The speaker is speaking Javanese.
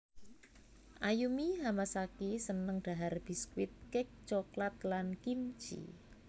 Ayumi Hamasaki seneng dhahar biskuit cake coklat lan kimchee